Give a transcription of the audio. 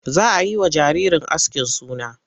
Za a yi wa jaririn askin suna.